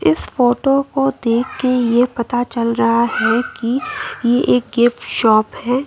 इस फोटो को देख के ये पता चल रहा है कि ये एक गिफ्ट शॉप है।